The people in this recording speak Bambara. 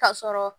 Ka sɔrɔ